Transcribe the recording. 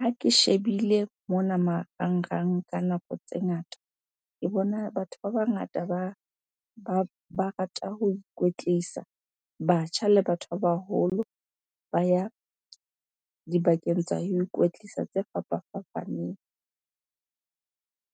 Ha ke shebile mona marangrang ka nako tse ngata, ke bona batho ba bangata ba rata ho ikwetlisa. Batjha le batho ba baholo ba ya dibakeng tsa ho ikwetlisa tse fapafapaneng.